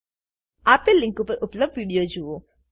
આપેલ લીંક પર ઉપલબ્ધ વિડીયો જુઓ